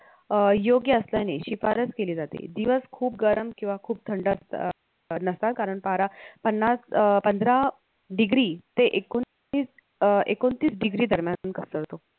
अं योग्य असल्याने शिफारस केली जाते दिवस खूप गरम किंवा खूप थंड असता अं नसता कारण पारा पन्नास अं पंधरा degree ते एकोणीस अं एकोणतीस degree दरम्यान घसरतो